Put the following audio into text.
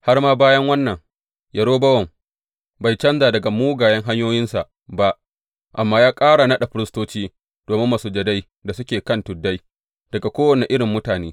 Har ma bayan wannan, Yerobowam bai canja daga mugayen hanyoyinsa ba, amma ya ƙara naɗa firistoci domin masujadai da suke kan tuddai daga kowane irin mutane.